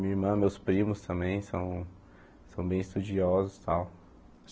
Minha irmã, meus primos também são são bem estudiosos e tal.